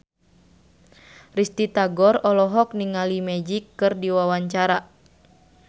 Risty Tagor olohok ningali Magic keur diwawancara